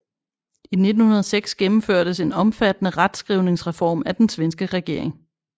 I 1906 gennemførtes en omfattende retskrivningsreform af den svenske regering